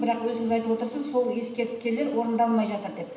бірақ өзіңіз айтып отырсыз сол ескертпелер орындалмай жатыр деп